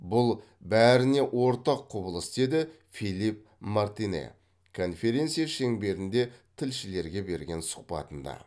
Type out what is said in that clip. бұл бәріне ортақ құбылыс деді филипп мартинэ конференция шеңберінде тілшілерге берген сұхбатында